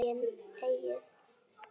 Ekkert er okkar eigið.